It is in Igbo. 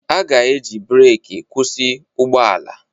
A ga-eji breeki kwụsị ụgbọ ala